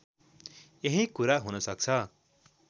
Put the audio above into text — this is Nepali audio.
यही कुरा हुनसक्छ